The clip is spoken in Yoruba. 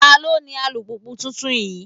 Ta ló ní alùpùpù tuntun yìí?